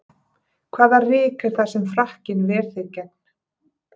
Hvaða ryk er það sem frakkinn ver þig gegn?